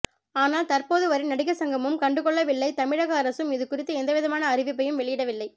ஆனால் தற்போது வரை நடிகர் சங்கமும் கண்டுகொள்ளவில்லை தமிழக அரசும் இது குறித்து எந்தவிதமான அறிவிப்பையும் வெளியிடவில்லை